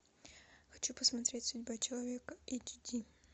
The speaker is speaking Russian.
хочу посмотреть судьба человека эйч ди